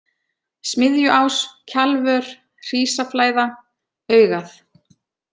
Smiðjuás, Kjalvör, Hrísaflæða, Augað